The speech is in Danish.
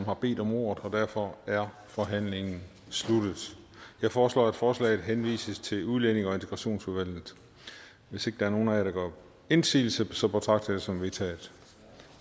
har bedt om ordet og derfor er forhandlingen sluttet jeg foreslår at forslaget henvises til udlændinge og integrationsudvalget hvis ikke der er nogen af jer der gør indsigelse betragter jeg det som vedtaget